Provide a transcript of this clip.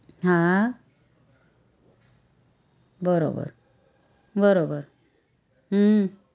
હા બરોબર બરોબર હમ